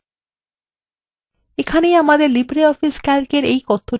এখন পরিবর্তনগুলি বাতিল করা যাক